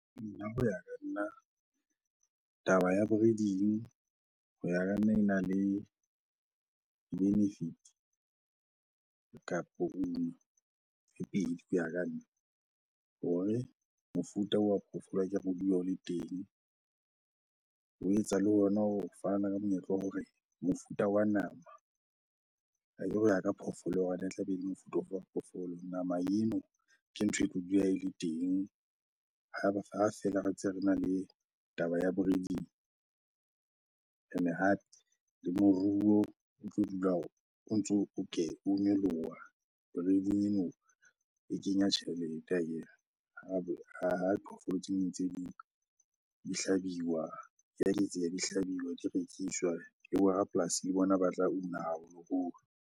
Nna ho ya ka nna, taba ya breeding ho ya ka nna ena le di-benefit kapo uno tse pedi ho ya ka nna hore mofuta oo wa phoofolo akere dule o le teng le ho etsa le hona ho fana ka monyetla wa hore mofuta wa nama akere ho ya ka phoofolo hore na e tla be ele mofuta ofe wa phoofolo? Nama eno ke ntho e tlo dula ele teng ha feela re ntse rena le taba ya breeding. Ene hape le moruo o tlo dula hore o ntso o o nyoloha, breeding eno e kenya tjhelete akere ha diphoofolo tse ding ntse di hlabiwa. Dia eketseha, di hlabiwa, dia rekiswa le bo rapolasi le bona ba tla una haholoholo.